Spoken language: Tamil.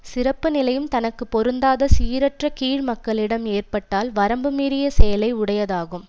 சிறப்பு நிலையும் தனக்கு பொருந்தாத சீரற்ற கீழ் மக்களிடம் ஏற்பட்டால் வரம்பு மீறிய செயலை உடையதாகும்